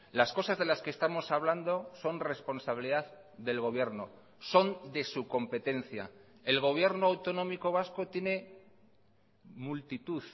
las cosas de las que estamos hablando son responsabilidad del gobierno son de su competencia el gobierno autonómico vasco tiene multitud